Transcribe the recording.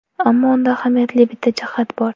Ammo unda ahamiyatli bitta jihat bor.